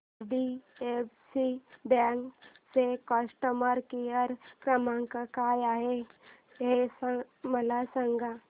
IDFC bank चा customer care क्रमांक काय आहे हे मला सांगा